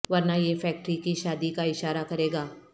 ورنہ یہ فیکٹری کی شادی کا اشارہ کرے گا